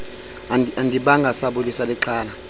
andibanga sabulisa lixhala